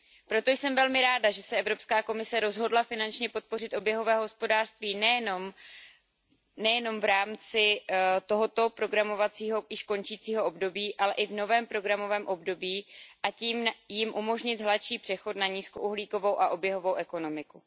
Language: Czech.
Proto jsem velmi ráda, že se Evropská komise rozhodla finančně podpořit oběhové hospodářství nejen v rámci tohoto programového, již končícího období, ale i v novém programovém období, a tím jim umožnit hladší přechod na nízkouhlíkovou a oběhovou ekonomiku.